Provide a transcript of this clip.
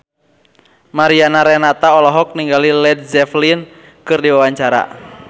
Mariana Renata olohok ningali Led Zeppelin keur diwawancara